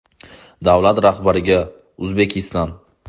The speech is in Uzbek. Davlat rahbariga Uzbekistan.